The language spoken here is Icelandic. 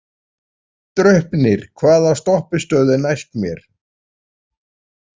Draupnir, hvaða stoppistöð er næst mér?